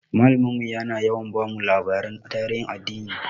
Malamin mu yana yawa bamu labaran tarihin addini.